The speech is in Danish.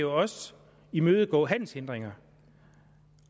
også imødegå handelshindringer